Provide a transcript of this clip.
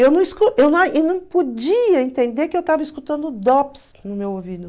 Eu não podia entender que eu estava escutando DOPS no meu ouvido.